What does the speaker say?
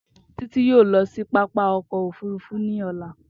Titi yio lọ si papa ọkọ ofurufu ni ọla.